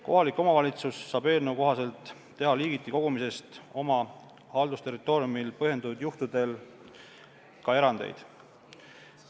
Kohalik omavalitsus saab eelnõu kohaselt teha liigiti kogumisest oma haldusterritooriumil põhjendatud juhtudel ka erandeid.